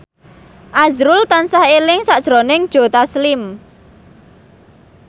azrul tansah eling sakjroning Joe Taslim